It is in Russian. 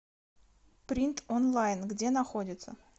принт онлайн где находится